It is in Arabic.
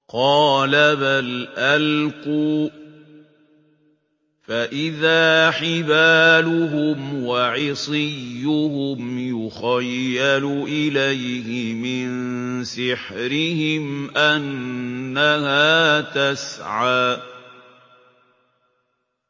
قَالَ بَلْ أَلْقُوا ۖ فَإِذَا حِبَالُهُمْ وَعِصِيُّهُمْ يُخَيَّلُ إِلَيْهِ مِن سِحْرِهِمْ أَنَّهَا تَسْعَىٰ